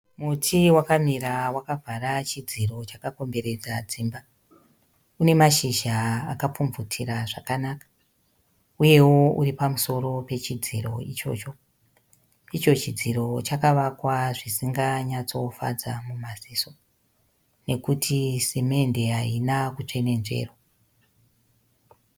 Muti wakamira wakavhara chidziri chakakomberedza dzimba. Une mashizha akapfubvutira zvakanaka. Uyewo uri pamusoro pechidziri ichocho. Icho chidziro chakavakwa zvisinganyadzofadza mumaziso nekuti simendi haina kutsvenedzverwa.